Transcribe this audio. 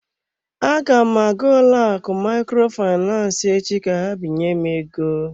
Aga m aga ụlọakụ Microfinance echi ka ha binye m ego.